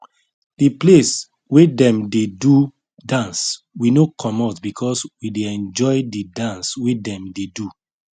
de place wey dem dey do dance we no comot because we dey enjoy the dance wey dem dey do